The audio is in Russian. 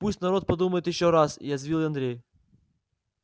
пусть народ подумает ещё раз язвил андрей